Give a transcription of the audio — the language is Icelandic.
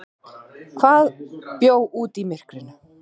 Hvað bjó úti í myrkrinu?